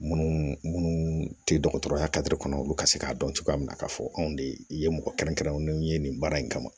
Munnu munnu tɛ dɔgɔtɔrɔya kɔnɔ olu ka se k'a dɔn cogoya minna k'a fɔ anw de ye mɔgɔ kɛrɛnkɛrɛnnenw ye nin baara in kama